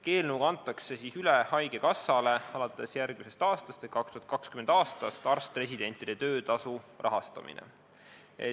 Eelnõuga antakse haigekassale alates järgmisest aastast ehk 2020. aastast üle arst-residentide töötasu rahastamine.